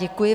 Děkuji.